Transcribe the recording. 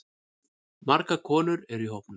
Margar konur eru í hópnum.